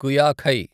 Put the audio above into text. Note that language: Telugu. కుయాఖై